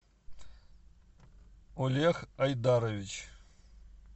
олег айдарович